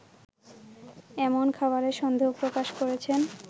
এমন খবরে সন্দেহ প্রকাশ করেছেন